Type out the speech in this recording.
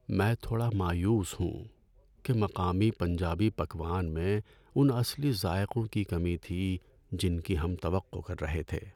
میں تھوڑا مایوس ہوں کہ مقامی پنجابی پکوان میں ان اصلی ذائقوں کی کمی تھی جن کی ہم توقع کر رہے تھے۔